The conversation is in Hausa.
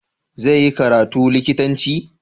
Zai yi karatu likitanci?